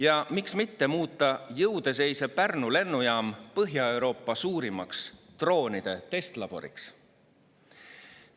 Ja miks mitte muuta jõude seisev Pärnu lennujaam Põhja-Euroopa suurimaks droonide testlaboriks.